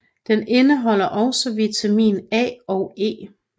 Den indeholder også vitamin A og E